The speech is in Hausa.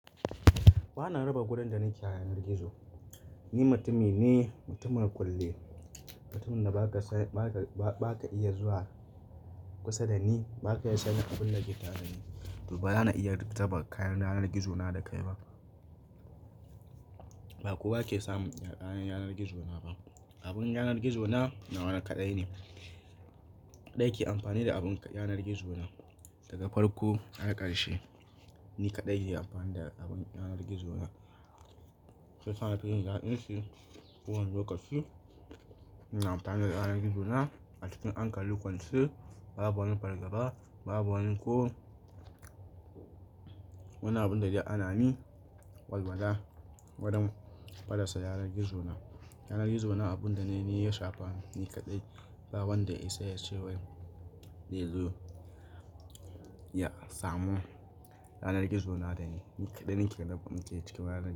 Ba na raba gurin da nake yanar gizo. Ni mutumi ne, mutumin kulle. Mutumin da ba ka iya zuwa kusa da ni, ba ka iya sani abin da ke ta da ni. To ba za ka iya taɓa kayan yanar gizo na da kai ba. Ba kowa ke samun kayan yanar gizo na ba. Abin yanar gizo na, na wani kaɗai ne. Kaɗai ke amfani da abin yanar gizo na. Daga farko har ƙarshe, ni kaɗai ke amfani da abin yanar gizo na. Sai ka na tafi in jin daɗinshi kowane lokaci. Na amfana da yanar gizo na a cikin anƙali kwanse. Babu wani fargaba, babu wani ko wani abin da zai hana ni walwala wurim fallasa yanar gizo na. Yanar gizo na abunda na yi ya shafa ni kaɗai. Wanda ya isa a cewar yanzu ya samu yanar gizo na dani. Ni kaɗai nake cika yanar gizo na.